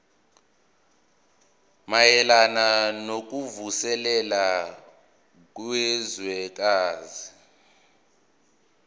mayelana nokuvuselela kwezwekazi